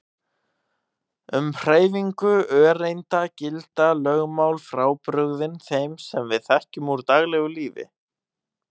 Um hreyfingu öreinda gilda lögmál frábrugðin þeim sem við þekkjum úr daglegu lífi.